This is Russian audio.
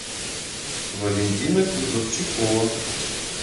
валентина кузовчикова